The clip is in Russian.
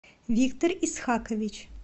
виктор исхакович